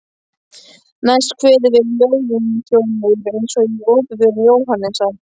Næst kveður við lúðurhljómur eins og í Opinberun Jóhannesar